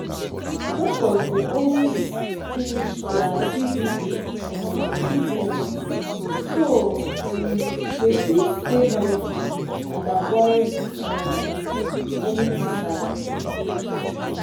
doctors dey always finish dia tb um treatment so um dem fit stay healthy and avoid um any kasala